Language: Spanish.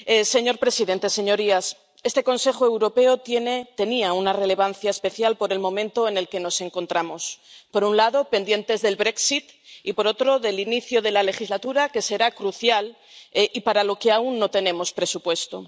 Señor presidente, señorías, este Consejo Europeo tiene —tenía— una relevancia especial por el momento en el que nos encontramos por un lado, pendientes del Brexit y, por otro, del inicio de la legislatura, que será crucial y para la que aún no tenemos presupuesto.